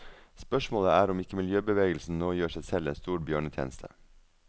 Spørsmålet er om ikke miljøbevegelsen nå gjør seg selv en stor bjørnetjeneste.